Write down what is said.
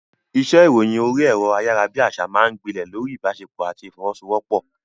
Iṣẹ́ ìròyìn orí ẹ̀rọ ayárabíàṣá máa ń gbilẹ̀ lórí ìbáṣepọ̀ àti ìfọwọ́sowọ́pọ̀.